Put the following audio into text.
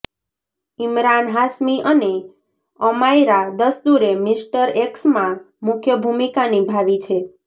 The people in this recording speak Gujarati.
ઇમરાન હાશમી અને અમાયરા દસ્તૂરે મિસ્ટર એક્સમાં મુખ્ય ભૂમિકા નિભાવી છે